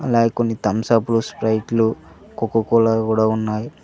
అలాగే కొన్ని Thums Up లో స్ప్రెట్లు కోకా కోల కూడా ఉన్నాయి.